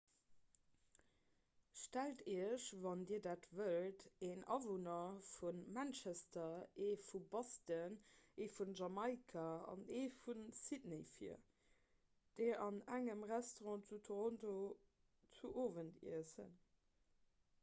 stellt iech wann dir dat wëllt en awunner vu manchester ee vu boston ee vun jamaika an ee vu sydney vir déi an engem restaurant zu toronto zu owend iessen